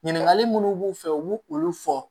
Ɲininkali minnu b'u fɛ u b'u olu fɔ